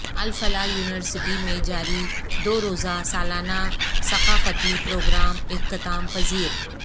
الفلاح university میں جاری دو روزہ سالانہ ثقافتی پروگرام اختتام پذیر